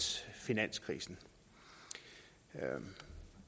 finanskrisen og